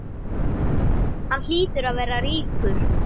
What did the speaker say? Hann hlýtur að vera ríkur.